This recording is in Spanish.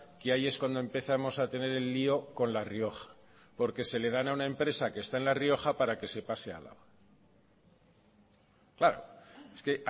que ahí es cuando empezamos a tener el lío con la rioja porque se le dan a una empresa que está en la rioja para que se pase a álava claro es que